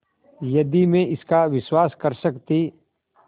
यदि मैं इसका विश्वास कर सकती